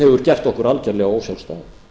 hefur gert okkur algjörlega ósjálfstæð